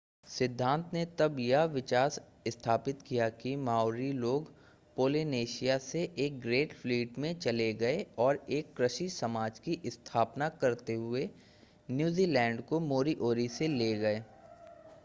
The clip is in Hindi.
सिद्धांत ने तब यह विचार स्थापित किया कि माओरी लोग पोलिनेशिया से एक ग्रेट फ़्लीट में चले गए और एक कृषि समाज की स्थापना करते हुए न्यूज़ीलैंड को मोरीओरी से ले गए